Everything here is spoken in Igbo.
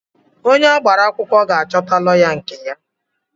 Onye agbara akwụkwọ ga-achọta lọya nke ya.